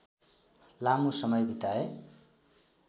लामो समय बिताए